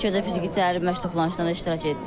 İlk fiziki təlim məşq toplanışında iştirak etdik.